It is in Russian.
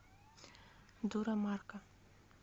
дура марка